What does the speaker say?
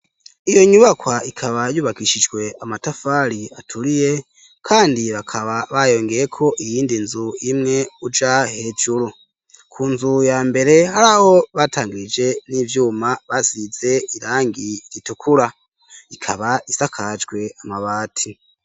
Iyo nyubakwa ikaba yubakishijwe amatafari aturiye kandi bakaba bayongeyeko iyindi nzu imwe uja hejuru. Ku nzu ya mbere hari aho batangirije n'ivyuma bazize irangi ritukura ikaba isakajwe amabati.